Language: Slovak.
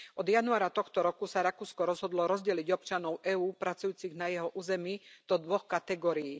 Od januára tohto roku sa Rakúsko rozhodlo rozdeliť občanov EÚ, pracujúcich na jeho území, do dvoch kategórií.